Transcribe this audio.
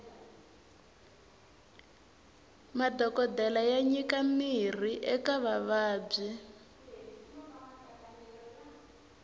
madhokodele ya nyika mirhi eka vavabyi